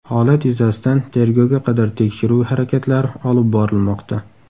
Holat yuzasidan tergovga qadar tekshiruv harakatlari olib borilmoqda.